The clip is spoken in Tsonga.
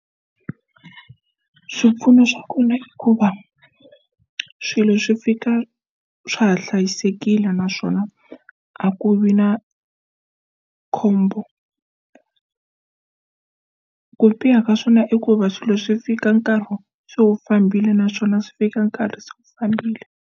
Swipfuno swa kona hikuva swilo swi fika swa ha hlayisekile naswona a ku vi na khombo ku biha ka swona i ku va swilo swi fika nkarhi se wu fambile naswona swi fika nkarhi se wu fambile.